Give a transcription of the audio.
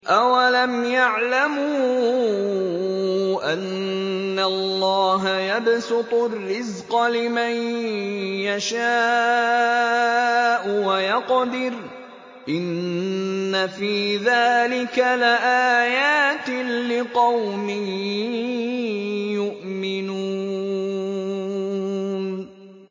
أَوَلَمْ يَعْلَمُوا أَنَّ اللَّهَ يَبْسُطُ الرِّزْقَ لِمَن يَشَاءُ وَيَقْدِرُ ۚ إِنَّ فِي ذَٰلِكَ لَآيَاتٍ لِّقَوْمٍ يُؤْمِنُونَ